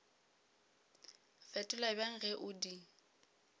fetola bjang ge o di